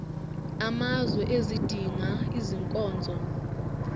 amazwe ezidinga izinkonzo